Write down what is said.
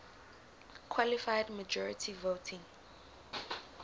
qualified majority voting